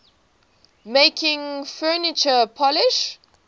making furniture polish